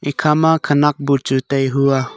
ekhama khenak buchu tai hua.